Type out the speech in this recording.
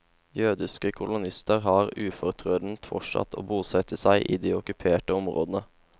Jødiske kolonister har ufortrødent fortsatt å bosette seg i de okkuperte områdene.